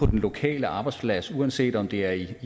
den lokale arbejdsplads uanset om det er i